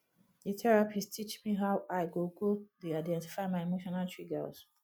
di therapist teach me how i go go dey identify my emotional triggers